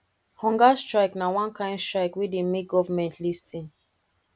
hunger strike na one kain strike wey dey make government lis ten